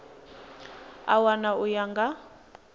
a wana u ya nga